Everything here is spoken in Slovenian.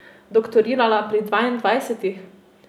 Doktorirala pri dvaindvajsetih?